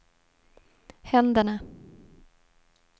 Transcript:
händerna